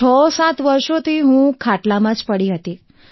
67 વર્ષોથી હું ખાટલામાં પડી છું